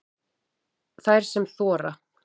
Þær sem þora